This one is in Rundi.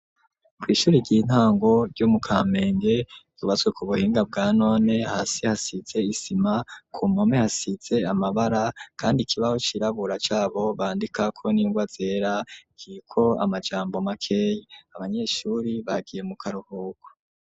Kw'ishuri ry'intango ryo mu Kamenge hubatswe ku buhinga bwa none, hasi hasize isima ,ku mpome hasize amabara ,kandi ikibaho cirabura cabo bandikako n'ingwa zera kiriko amajambo makeya, abanyeshuri bagiye mu karuhuko.